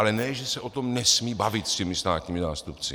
Ale ne že se o tom nesmí bavit s těmi státními zástupci.